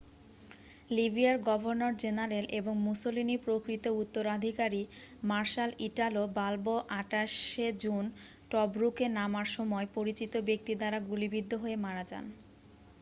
লিবিয়ার গভর্নর-জেনারেল এবং মুসোলিনির প্রকৃত উত্তরাধিকারী মার্শাল ইটালো বাল্বো 28 শে জুন টব্রুকে নামার সময় পরিচিত ব্যক্তি দ্বারা গুলিবিদ্ধ হয়ে মারা যান